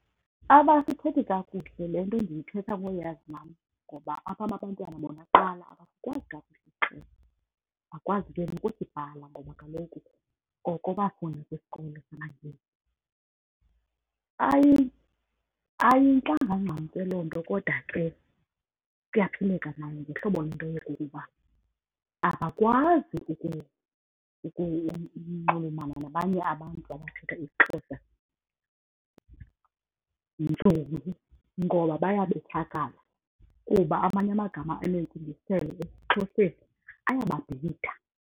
Abasithethi kakuhle. Le nto ndiyithetha ngoyazi nam ngoba abam abantwana bona kuqala abakwazi kakuhle isiXhosa, abakwazi ke nokusibhala ngoba kaloku oko bafunda kwisikolo samaNgesi. Ayintlanga ncam ke loo nto kodwa ke kuyaphileka nayo ngehlobo le nto yokokuba abakwazi ukunxulumana nabanye abantu abathetha isiXhosa ngoba bayabethakala kuba amanye amagama anentsingiselo esiXhoseni ayababhida.